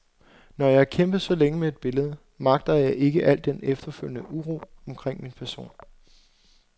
Når jeg har kæmpet så længe med et billede, magter jeg ikke alt den efterfølgende uro omkring min person.